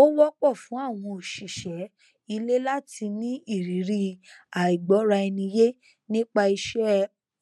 ó wọpọ fún àwọn òṣìṣẹ ilé láti ní ìrírí àìgbọraẹniyé nípa iṣẹ